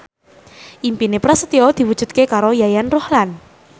impine Prasetyo diwujudke karo Yayan Ruhlan